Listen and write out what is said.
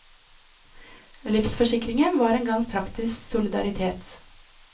Livsforsikringen var en gang praktisk solidaritet.